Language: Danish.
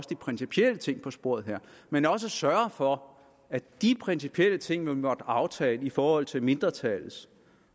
de principielle ting på sporet her men også sørger for at de principielle ting man måtte aftale i forhold til mindretallets